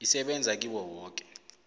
isebenza kiwo woke